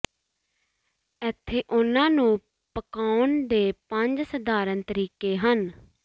ਇੱਥੇ ਉਨ੍ਹਾਂ ਨੂੰ ਪਕਾਉਣ ਦੇ ਪੰਜ ਸਧਾਰਨ ਤਰੀਕੇ ਹਨ